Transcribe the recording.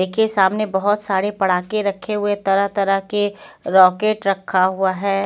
येके सामने बहोत सारे पड़ाके रखे हुए तरह तरह के रोकेट रखा हुआ हैं।